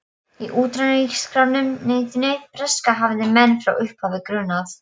Í utanríkisráðuneytinu breska hafði menn frá upphafi grunað